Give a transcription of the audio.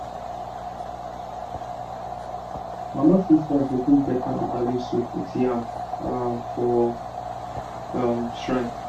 my um mama sister go cook better bitterleaf soup with yam um for um shrine.